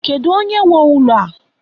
Kedu onye nwe ụlọ a?